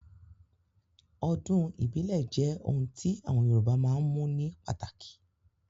Ọdún ìbílẹ̀ jẹ́ ohun tí àwọn Yorùbá máa ń mú ní pàtàkì